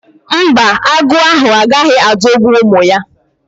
Mba, agụ ahụ agaghị adọgbu ụmụ ya